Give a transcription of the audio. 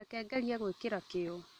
Reke ngerie gwĩkĩra kĩyo